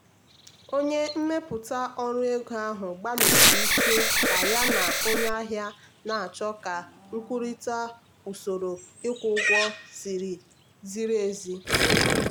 onye mmepụta ọrụ ego ahụ gbalịsiri ike ka ya na onye ahịa na-achọ ka kwurịta usoro ịkwụ ụgwọ ziri ezi.